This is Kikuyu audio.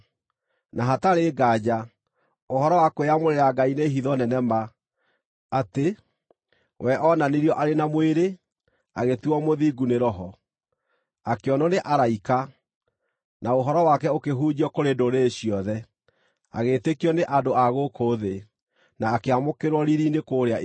Na hatarĩ nganja, ũhoro wa kwĩyamũrĩra Ngai nĩ hitho nene ma, atĩ: We oonanirio arĩ na mwĩrĩ, agĩtuuo mũthingu nĩ Roho, akĩonwo nĩ araika, na ũhoro wake ũkĩhunjio kũrĩ ndũrĩrĩ ciothe, agĩĩtĩkio nĩ andũ a gũkũ thĩ, na akĩamũkĩrwo riiri-inĩ kũrĩa igũrũ.